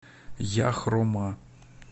яхрома